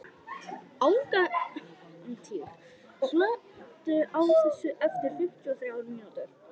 Angantýr, slökktu á þessu eftir fimmtíu og þrjár mínútur.